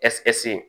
Ɛsip